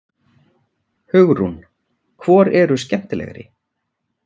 Hugrún: Hvor eru skemmtilegri?